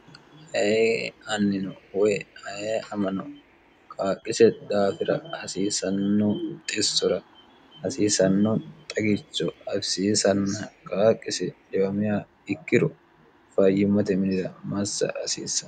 he annino wy e amano kaaqqise daafira hasiisannoo xissora hasiisanno xagicho afisiisanna qaaqqise dwm ikkiro fayyimmote milira massa hasiissan